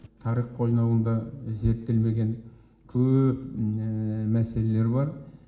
тарих қойнауында зерттелмеген көп мәселелер бар